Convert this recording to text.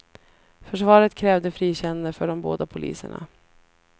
Försvaret krävde frikännande för de båda poliserna.